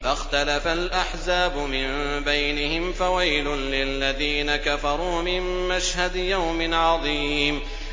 فَاخْتَلَفَ الْأَحْزَابُ مِن بَيْنِهِمْ ۖ فَوَيْلٌ لِّلَّذِينَ كَفَرُوا مِن مَّشْهَدِ يَوْمٍ عَظِيمٍ